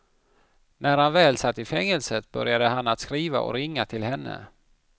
När han väl satt i fängelset började han att skriva och ringa till henne.